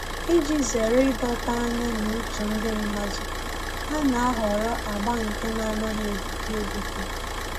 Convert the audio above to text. Iji zere ịdọta anya na uche ndị mmadụ, ha na-ahọrọ agba nke na-anaghị egbuke egbuke